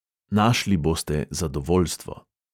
Našli boste zadovoljstvo.